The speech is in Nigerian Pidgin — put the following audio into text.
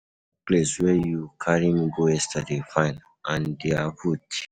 Dat place where you carry me go yesterday fine and their food cheap.